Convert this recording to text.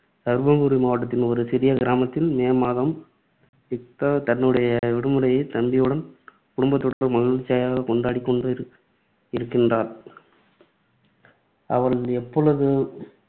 தர்மபுரி மாவட்டத்தின் ஒரு சிறிய கிராமத்தில், மே மாதம், யுக்தா தன்னுடைய விடுமுறையை தம்பியுடனும், குடும்பத்துடனும் மகிழ்ச்சியாக கொண்டாடிக் கொண்டு இருக்கின்றாள். அவள் எப்பொழுதும்